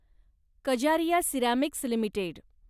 Kajaria ceramics limited